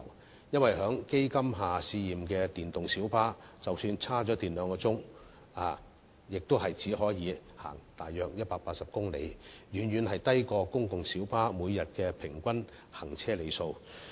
原因是，在基金下試驗的電動小巴即使充電兩小時，亦只可行駛約180公里，遠遠低於公共小巴每天平均行車里數。